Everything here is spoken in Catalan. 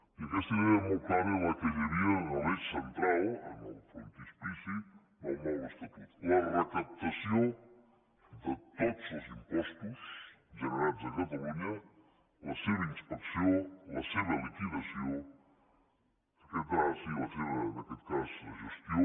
i aquesta idea molt clara era la que hi havia en l’eix central en el frontispici del nou estatut la recaptació de tots els impostos generats a catalunya la seva inspecció la seva liquidació i la seva en aquest cas gestió